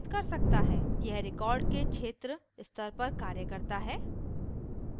यह record के क्षेत्र स्तर पर कार्य करता है